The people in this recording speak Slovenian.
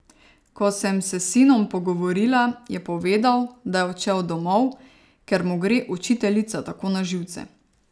Ko sem se s sinom pogovorila, je povedal, da je odšel domov, ker mu gre učiteljica tako na živce.